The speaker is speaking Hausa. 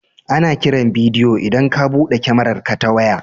Ana kiran bidiyo idan ka buɗe kyamararka ta waya.